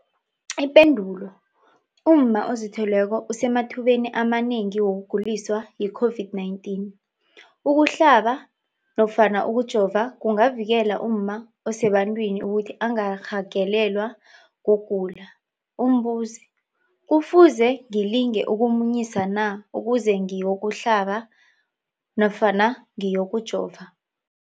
Ipendulo, umma ozithweleko usemathubeni amanengi wokuguliswa yi-COVID-19. Ukuhlaba nofana ukujova kungavikela umma osebantwini ukuthi angarhagalelwa kugula. Umbuzo, kufuze ngilise ukumunyisa na ukuze ngiyokuhlaba nofana ngiyokujova?